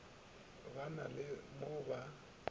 ba na le mo ba